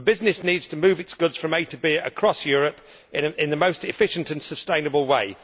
A business needs to move its goods from A to B across Europe in the most efficient and sustainable way.